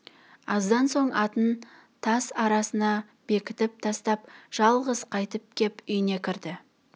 аздан соң атын тас арасына бекітіп тастап жалғыз қайтып кеп үйіне кірді